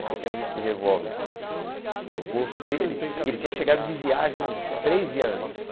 Porque eu tinha visto o revólver no bolso dele e ele tinha chegado de viagem uns três dias antes.